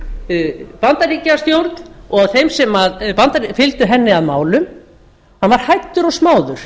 af bandaríkjastjórn og af þeim sem fylgdu henni að málum hann var hæddur og smáður